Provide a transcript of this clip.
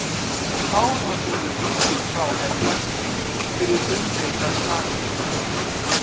Þá var honum vikið frá embætti fyrir umdeildar sakir.